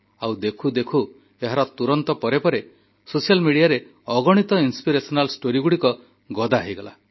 ଆଉ ଦେଖୁ ଦେଖୁ ଏହାର ତୁରନ୍ତ ପରେ ସୋସିଆଲ୍ ମିଡିଆରେ ଅଗଣିତ ପ୍ରେରଣାଦାୟୀ କାହାଣୀ ଗଦା ହୋଇଗଲା